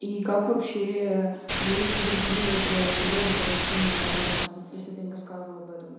и как вообщее люди другие на это реагировали когда ты с ним знакомился если ты им рассказывал об этом